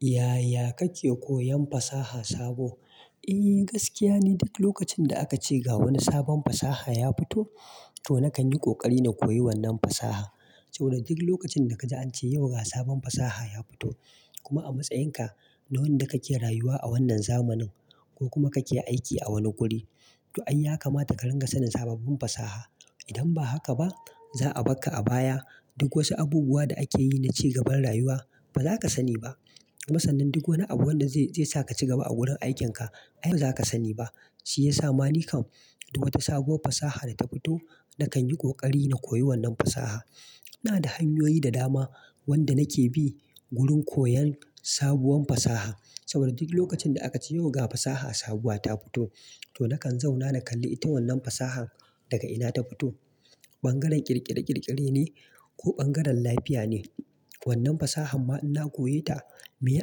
Yaya kake koyan fasaha sabo? Eh gaskiya ni, duk lokacin da aka ce ga wani sabon fasaha ya fito, to na kan yi ƙoƙari na koyi wannan fasaha. To duk lokacin da ka ji an ce yau ga sabon fasaha ya fito, kuma a matsayin ka na wanda kake rayuwa a wannan zamanin ko kuma kake aiki a wani guri, toh ai ya kamata ka rinƙa sanin sababbin fasaha. Idan ba haka ba, za'a barka a baya. Duk wasu abubuwa da ake yi na cigaban rayuwa ba za ka sani ba. Kuma sannan duk wani abu wanda zai sa ka cigaba a gurin aikin ka, ai ba za ka sani ba. Shi ya sa mani kam, duk wata sabuwar fasaha da ta fito, na kan yi ƙoƙari na koyi wannan fasahan. Ina da hanyoyi da dama wanda nake bi wurin koyan sabuwar fasaha. Saboda duk lokacin da aka ce yau ga fasaha sabuwa ta fito, to na kan zauna na kalli ita wannan fasahan daga ina ta fito. Ɓangaren ƙirƙire-ƙirƙire ne? Ko bangaren lafiya ne? Wannan fasahan ma in na koye ta, miye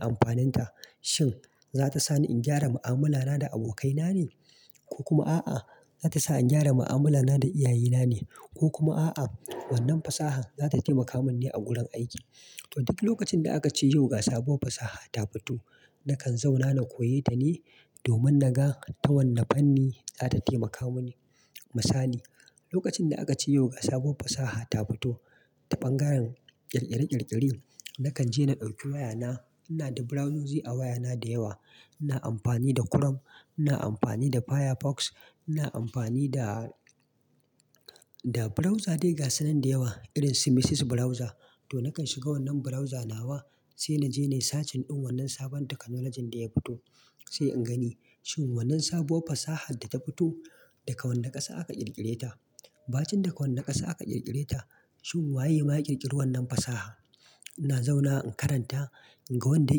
amfanin ta? Shin za ta sa ni in gyara ma'amala na da abokai na ne? Ko kuma a'a, za ta sa in gyara ma'amala na da iyaye na ne, ko kuma a'a, wannan fasahan za ta taimaka min ne a gurin aiki. To duk lokacin da aka ce yau ga sabuwar fasaha ta fito, na kan zauna na koye ta ne domin na ga ta wanne fanni za ta taimaka mini. Misali, lokacin da aka ce yau ga sabuwar fasaha ta fito ta ɓangaren ƙirƙire-ƙirƙire, na kan je na ɗauki waya na. Ina da browsers a waya na da yawa. Ina amfani da Chrome, ina amfani da Firefox, ina amfani da, da browser dai ga sunan da yawa irin su Mises Browser. Toh na kan shiga wannan browser nawa sai na je na yi search din wannan sabon technology din da ya fito. Sai in gani shin wannan sabuwar fasahan da ta fito, daga wanne ƙasa aka ƙirƙire ta. Ba cin daga wanne ƙasa aka ƙirƙire ta, shin waye ma ya yi ƙirkiri wannan fasahar. Na zauna in karanta in ga wanda ya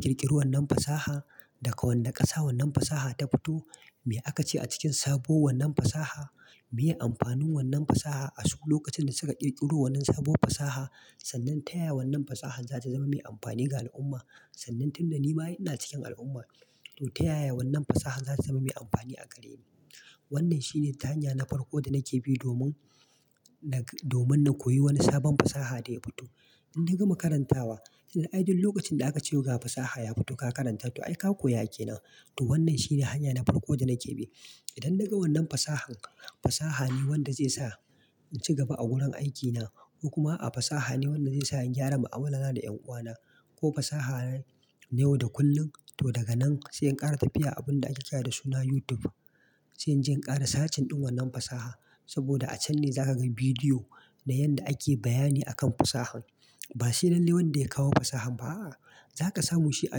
ƙirkiri wannan fasahar, daga wanne ƙasa wannan fasaha ta fito, me aka ce a cikin sabuwar wannan fasaha, miye amfanin wannan fasaha a su lokacin da suka ƙirkiro wannan sabuwar fasaha sannan ta yaya wannan fasaha za ta zama mai amfani ga al'umma sannan tun da ni ma ai ina cikin al'umma, to ta yaya wannan fasahar za ta zama mai amfani a gareni. Wannan shi ne ta hanya na farko da nake bi domin, domin na koyi wani sabon fasaha da ya fito. In na gama karantawa, ai duk lokacin da aka ce yau ga fasaha ya fito ka karanta to ai ka koya ke nan. To wannan shi ne hanya na farko da nake bi. Idan na ga wannan fasahar, fasaha ne wanda zai sa in cigaba a gurin aikina ko kuma a fasaha ne wanda zai sa in gyara ma'amala na da 'yan uwa na, ko fasaha ne wanda kullum, toh daga nan sai in ƙara tafiya abin da ake kira da suna YouTube. Sai in je in ƙara sacin din wannan fasaha. Saboda a can ne za ka ga bidiyo na yanda ake bayani a kan fasahan. Ba sai lallai wanda ya kawo fasahan ba a'a, za ka samu shi a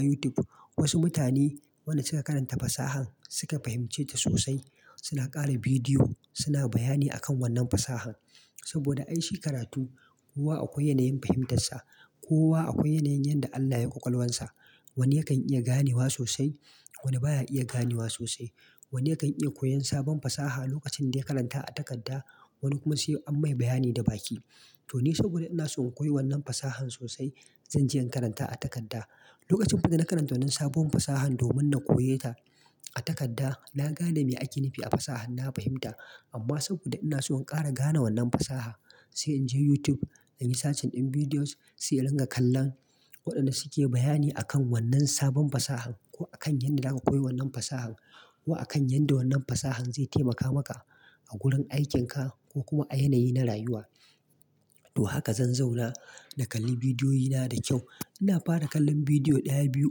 YouTube. Wasu mutane wanda suka karanta fasahan suka fahimce ta sosai, suna ƙara bidiyo, suna bayani a kan wannan fasahan. Saboda ai shi karatu, kowa akwai yanayin fahimtar sa, kowa akwai yanayin yanda Allah ya yi ƙwaƙwalwan sa. Wani yakan iya ganewa sosai, wani baya iya ganewa sosai. Wani yakan iya koyan sabon fasaha lokacin da ya karanta a takarda, wani kuma sai an mai bayani da baki. To ni saboda ina so in koyi wannan fasahan sosai, zan je in karanta a takarda. Lokacin fa da na karanta wannan sabuwar fasahan domin na koye ta a takarda, na gane me ake nufi a fasahan, na fahimta amma saboda ina so in ƙara gane wannan fasahar, sai in je YouTube, na yi sacin din videos, sai in ringa kallon waɗanda su ke bayani a kan wannan sabon fasahan ko a kan yanda za ka koyi wannan fasahan ko a kan yanda wannan fasahan zai taimaka maka a gurin aikin ka ko kuma a yanayi na rayuwa. Toh haka zan zauna na kalli bidiyoyi na da kyau. Ina fara kallon bidiyo ɗaya, biyu,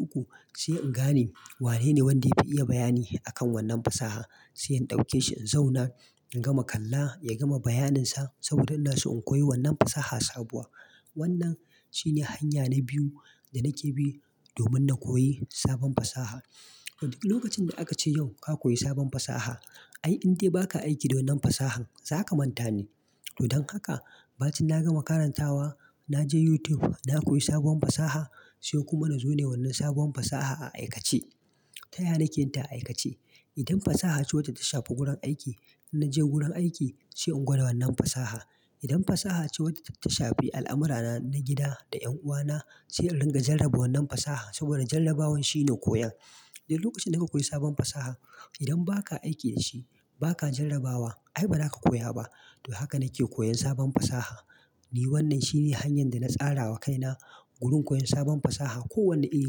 uku sai in gane wanene wanda ya fi iya bayani a kan wannan fasaha. Sai in ɗauke shi, in zauna, in gama kalla, ya gama bayanin sa saboda ina so in koyi wannan fasaha sabuwa. Wannan shine hanya na biyu da nake bi domin na koyi sabon fasaha. To duk lokacin da aka ce yau ka koyi sabon fasaha, ai in dai ba ka aiki da wannan fasahan, za ka manta ne. To don haka, ba cin na gama karantawa, na je YouTube, na koyi sabuwar fasaha, sai kuma na zo na yi wannan sabuwar fasaha a aikace. Ta yaya nake yinta a aikace. Idan fasaha ce wacce ta shafi gurin aiki, in naje gurin aiki, sai in gwada wannan fasaha. Idan fasaha ce wadda ta shafi al'amurana na gida da 'yan uwa na, sai in ringa jarraba wannan fasahar saboda jarrabawan shine koyon. Duk lokacin da ka koyi sabon fasaha, idan ba ka aiki da shi, ba ka jarrabawa, ai ba za ka koya ba. To haka nake koyan sabon fasaha. Ni wannan shine hanyar da na tsara wa kaina wurin koyan sabon fasaha, kowane iri neh.